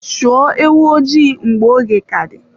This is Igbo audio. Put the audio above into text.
Chụọ ewo ojii mgbe oge ka dị.